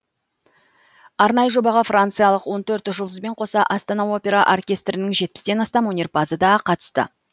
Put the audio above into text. арнайы жобаға франциялық он төрт жұлдызбен қоса астана опера оркестрінің жетпістен астам өнерпазы да қатысты